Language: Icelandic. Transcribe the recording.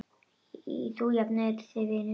Þú jafnar þig vinur.